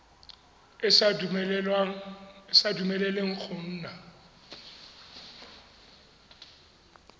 e sa dumeleleng go nna